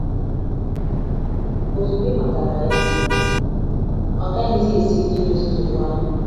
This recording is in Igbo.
Ozugbo ị matara ya, ọ gaghịzi esi ike idozi nsogbu ahụ. ”